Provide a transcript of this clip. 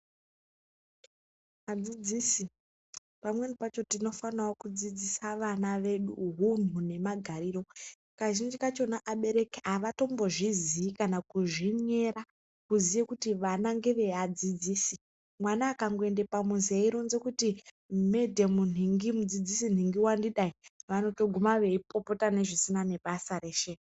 Vadzidzisi pamweni pacho tinofanao kudzidzisa vana vedu hunu nemagariro. Kazhinji kacho abereki avatombozviziyi kana kuzvinyera, kuziye kuti vana ngevadziidzisi. Mwana akangoende pamuzi eironzi kuti madhamu nhingi wandidai, vanotosvike veipopota zvisina nebasa reshe.